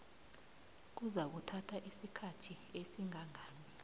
kuzakuthatha isikhathi esingangani